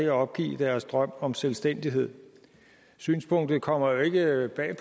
at opgive deres drøm om selvstændighed synspunktet kommer jo ikke bag